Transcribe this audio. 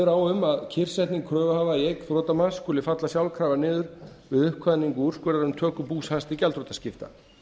á um að kyrrsetning kröfuhafa í eign þrotamanns skuli falla sjálfkrafa niður við uppkvaðningu úrskurðar um töku bús hans til gjaldþrotaskipta